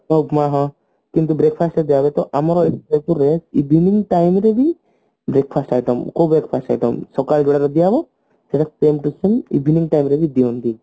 ଉପମା ହଁ ଏମତି breakfast ରେ ଦିଆହୁଏ ତ ଆମର billing time ରେ ହିଁ breakfast item କୋଉ breakfast item ସକାଳେ ଯୋଉଗୁଡାକ ଦିଆହେବ ସେଟାକୁ କୁହନ୍ତି tiffin evening time ରେ ବି ଦିଆହୁଏ